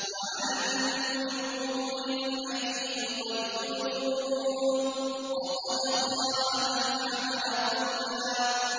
۞ وَعَنَتِ الْوُجُوهُ لِلْحَيِّ الْقَيُّومِ ۖ وَقَدْ خَابَ مَنْ حَمَلَ ظُلْمًا